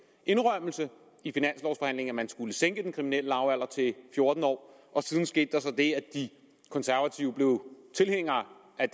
indrømmelse i finanslovforhandlingen at man skulle sænke den kriminelle lavalder til fjorten år og siden skete der så det at de konservative blev tilhængere af